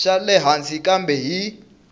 xa le hansi kambe hi